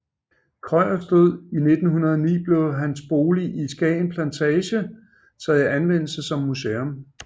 Krøyers død i 1909 blev hans bolig i Skagen Plantage taget i anvendelse som museum